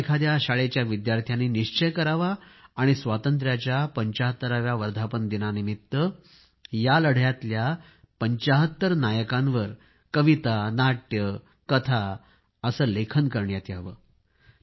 कोणा एखाद्या शाळेच्या विद्यार्थ्यांनी निश्चय करावा आणि स्वातंत्र्याच्या 75 व्या वर्धापनदिनानिमित्त या लढ्यातल्या 75 नायकांवर कविता नाट्य कथा लेखन करण्यात यावे